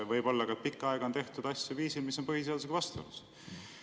Võib-olla ka pikka aega on tehtud asju viisil, mis on põhiseadusega vastuolus.